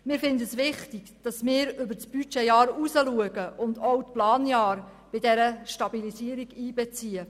Wir finden es wichtig, über das Budgetjahr hinauszuschauen und auch die Planjahre in diese Stabilisierung mit einzubeziehen.